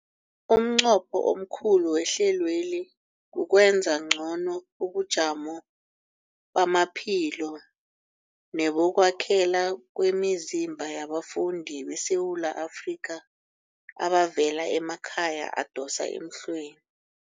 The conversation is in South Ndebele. Umnqopho omkhulu wehlelweli kukwenza ngcono ubujamo bamaphilo nebokwakhela kwemizimba yabafundi beSewula Afrika abavela emakhaya adosa emhlweni.